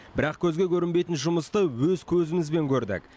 бірақ көзге көрінбейтін жұмысты өз көзімізбен көрдік